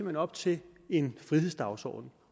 hen op til en frihedsdagsorden